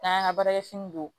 N'an y'an ka baarakɛ fini don